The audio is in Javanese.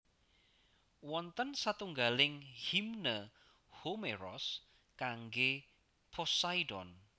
Wonten satunggaling Himne Homeros kanggé Poseidon